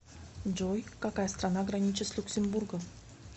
джой какая страна граничит с люксембургом